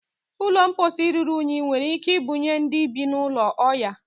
ụlọ mposi ruru unyi nwere ike ibunye ndị bi n'ulo oya